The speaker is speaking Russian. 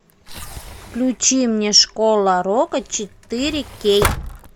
включи мне школа рока четыре кей